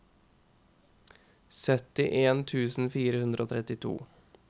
syttien tusen fire hundre og trettito